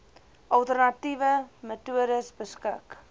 alternatiewe metodes beskik